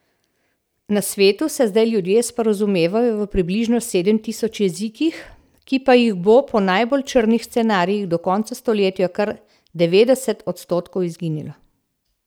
Na svetu se zdaj ljudje sporazumevajo v približno sedem tisoč jezikih, ki pa jih bo po najbolj črnih scenarijih do konca stoletja kar devetdeset odstotkov izginilo.